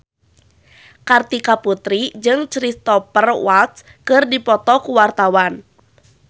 Kartika Putri jeung Cristhoper Waltz keur dipoto ku wartawan